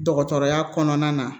Dɔgɔtɔrɔya kɔnɔna na